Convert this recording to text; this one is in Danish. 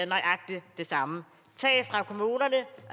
nøjagtig det samme